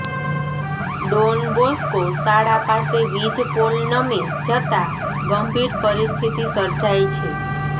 Don Bosco શાળા પાસે વીજ પોલ નમી જતાં ગંભીર પરિસ્થિતિ સર્જાઇ છે